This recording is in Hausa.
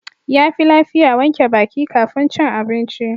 Yafi lafiya wanke baki kafin cin abinci.